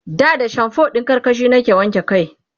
da da shamfo ɗin karkashi nake wanke kai